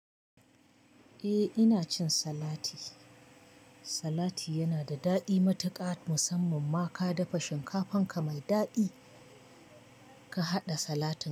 Eh ina cin salati. Salati yana da daɗi matuƙa musamman ma ka dafa shinkafanka mai daɗi ka haɗa salati.